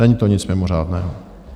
Není to nic mimořádného.